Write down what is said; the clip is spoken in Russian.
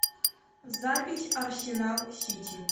запись арсенал сити